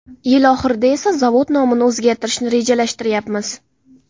Yil oxirida esa zavod nomini o‘zgartirishni rejalashtiryapmiz.